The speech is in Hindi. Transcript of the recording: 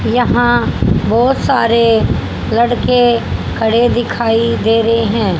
यहां बहोत सारे लड़के खड़े दिखाई दे रहे हैं।